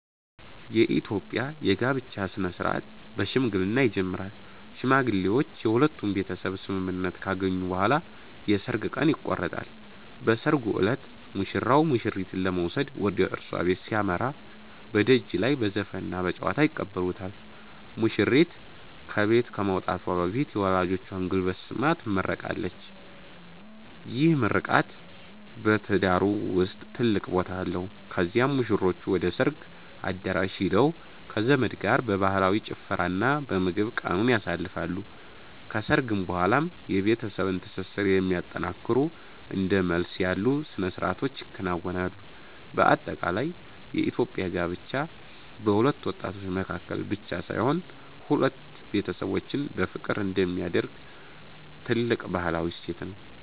የኢትዮጵያ የጋብቻ ሥነ-ሥርዓት በሽምግልና ይጀምራል። ሽማግሌዎች የሁለቱን ቤተሰብ ስምምነት ካገኙ በኋላ የሰርግ ቀን ይቆረጣል። በሰርጉ ዕለት ሙሽራው ሙሽሪትን ለመውሰድ ወደ እሷ ቤት ሲያመራ፣ በደጅ ላይ በዘፈንና በጨዋታ ይቀበሉታል። ሙሽሪት ከቤት ከመውጣቷ በፊት የወላጆቿን ጉልበት ስማ ትመረቃለች፤ ይህ ምርቃት በትዳሩ ውስጥ ትልቅ ቦታ አለው። ከዚያም ሙሽሮቹ ወደ ሰርግ አዳራሽ ሄደው ከዘመድ ጋር በባህላዊ ጭፈራና በምግብ ቀኑን ያሳልፋሉ። ከሰርግ በኋላም የቤተሰብን ትስስር የሚያጠነክሩ እንደ መልስ ያሉ ሥነ-ሥርዓቶች ይከናወናሉ። በአጠቃላይ የኢትዮጵያ ጋብቻ በሁለት ወጣቶች መካከል ብቻ ሳይሆን፣ ሁለት ቤተሰቦችን በፍቅር አንድ የሚያደርግ ትልቅ ባህላዊ እሴት ነው።